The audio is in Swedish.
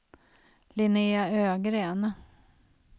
Linnea Ögren